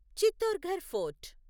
Chittorgarh fort